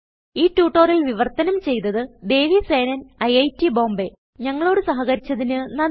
ഈ ട്യൂട്ടോറിയൽ വിവർത്തനം ചെയ്തത് ദേവി സേനൻIIT Bombayഞങ്ങളോട് സഹകരിച്ചതിന് നന്ദി